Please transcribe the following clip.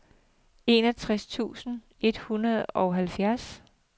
enogtres tusind et hundrede og halvfems